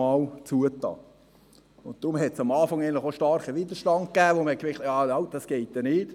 Deshalb gab es am Anfang auch starken Widerstand, weil man merkte: Halt, das geht nicht.